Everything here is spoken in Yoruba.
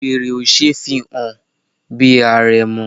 Wèrè ò ṣe é fi hàn bí àrẹ̀mọ.